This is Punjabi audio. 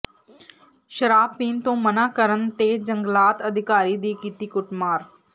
ਸ਼ਰਾਬ ਪੀਣ ਤੋਂ ਮਨਾਂ ਕਰਨ ਤੇ ਜੰਗਲਾਤ ਅਧਿਕਾਰੀ ਦੀ ਕੀਤੀ ਕੁੱਟਮਾਰ